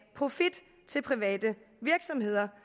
profit til private virksomheder